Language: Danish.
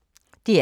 DR K